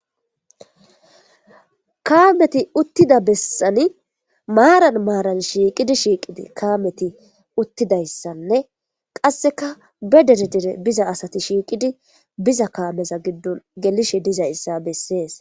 kaameti uttida bessani maaran maaran shiiqidi shiiqidi kaameti uttidayssanne qasseka be dere dere biza asati shiiqidi biza kaameza giddon gelishe dizay issa bessees